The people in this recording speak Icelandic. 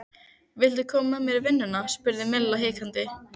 Viltu koma með mér í vinnuna? spurði Milla hikandi.